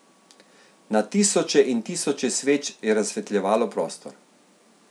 Na tisoče in tisoče sveč je razsvetljevalo prostor.